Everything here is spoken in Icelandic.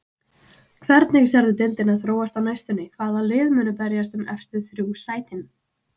Hvernig sérðu deildina þróast á næstunni, hvaða lið munu berjast um efstu þrjú sætin?